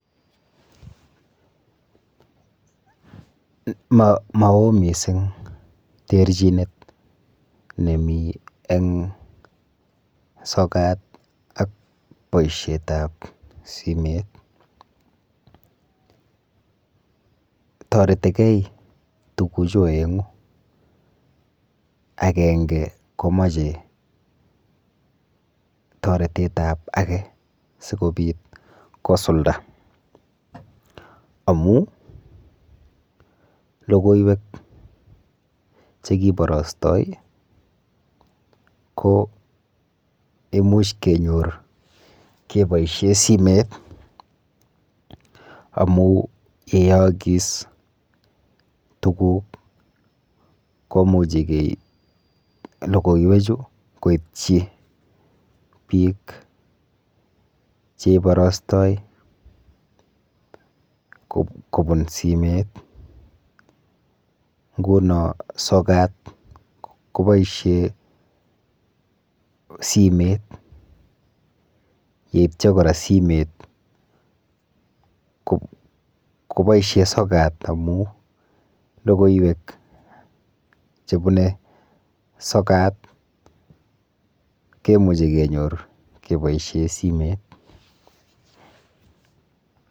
Maoo missing terchinet nemi eng sokat ak boishet ap simet toretikei tukuchu oengu akenge komochei toretet ap ake sikopit kosulda amu lokoiwek chekiborostoi ko imuch kenyor keboishe simet amu yo kiyookis tukuk ko muuch keip lokoiwek chu koitchi biik cheiborostoi kobun simet nguno sokat koboisie simet yeityo kora simet koboisie sokat amu lokoiwek chebune sokat kemuchei kenyor keboishe simet.